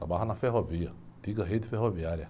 Trabalhava na ferrovia, antiga rede ferroviária.